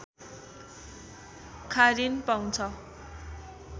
खारिन पाउँछ